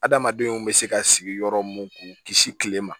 Adamadenw bɛ se ka sigi yɔrɔ mun k'u kisi tile ma